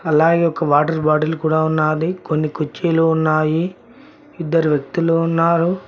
అలాగే ఒక water bottle కూడా ఉన్నాది కొన్ని కుర్చీలు ఉన్నాయి ఇద్దరు వ్యక్తులు ఉన్నారు.